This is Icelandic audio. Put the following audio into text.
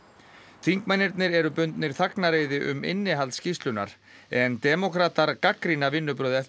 þingmennirnir eru bundnir þagnareiði um innihald skýrslunnar en demókratar gagnrýna vinnubrögð